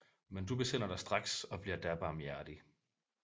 Men du besinder dig straks og bliver da barmhjertig